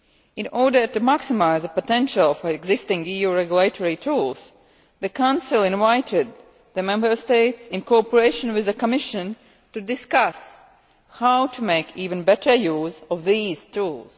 In order to maximise the potential of existing EU regulatory tools, the Council invited the Member States, in cooperation with the Commission, to discuss how to make even better use of these tools.